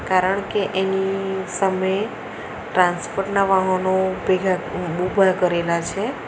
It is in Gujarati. કારણકે એની સામે ટ્રાન્સપોર્ટ ના વાહનો ઉભેલા ઉભા કરેલા છે.